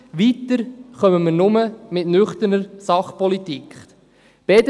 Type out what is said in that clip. Wir werden nur mit nüchterner Sachpolitik weiterkommen.